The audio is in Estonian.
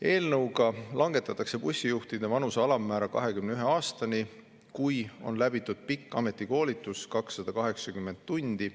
Eelnõuga langetatakse bussijuhtide vanuse alammäära 21 aastani, kui on läbitud pikk ametikoolitus 280 tundi.